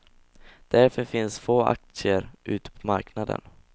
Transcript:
Därför finns få aktier ute på marknaden.